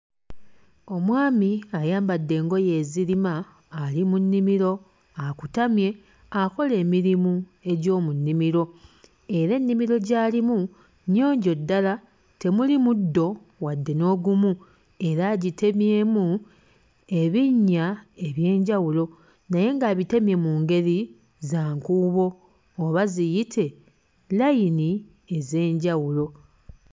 Omwami ayambadde engoye ezirima ali mu nnimiro akutamye akola emirimu egy'omu nnimiro era ennimiro gy'alimu nnyonjo ddala temuli muddo wadde n'ogumu era agitemyemu ebinnya eby'enjawulo naye ng'abitemye mu ngeri za nkuubo oba ziyite layini ez'enjawulo.